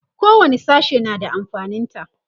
kowani sashe na da amfanin ta